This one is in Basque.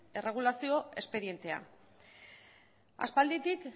erregulazio espedientea aspalditik